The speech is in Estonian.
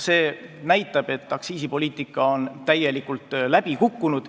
See näitab, et aktsiisipoliitika on täielikult läbi kukkunud.